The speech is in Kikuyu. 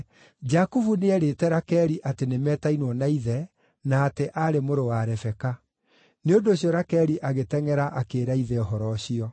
Jakubu nĩeerĩte Rakeli atĩ nĩ metainwo na ithe, na atĩ aarĩ mũrũ wa Rebeka. Nĩ ũndũ ũcio Rakeli agĩtengʼera akĩĩra ithe ũhoro ũcio.